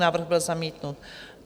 Návrh byl zamítnut.